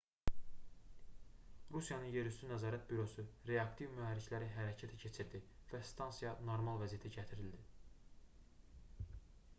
rusiyanın yerüstü nəzarət bürosu reaktiv mühərrikləri hərəkətə keçirdi və stansiya normal vəziyyətə gətirildi